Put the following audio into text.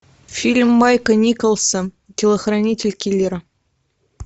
фильм майка николса телохранитель киллера